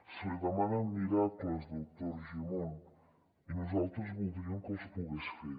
se li demana miracles doctor argimon i nosaltres voldríem que els pogués fer